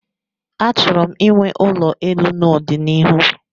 Achọrọ m inwe ulo elu n'ọdịnihu